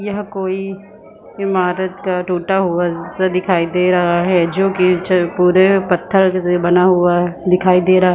यह कोई इमारत का टुटा हुआ जि सा दिखाई दे रहा है जो की छ पुरे पत्थर से बना हुआ दिखाई दे रहा--